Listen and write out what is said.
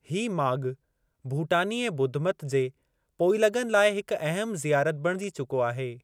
हीउ माॻु भूटानी ऐं ॿुधमत जे पोइलॻनि लाइ हिक अहम ज़ियारत बणिजी चुको आहे।